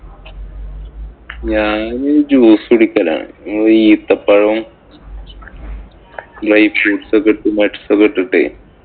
ഞാന് juice കുടിക്കലാണ്. ഈത്തപ്പഴവും dry fruits ഉം nuts ഒക്കെ ഇട്ടിട്ടേ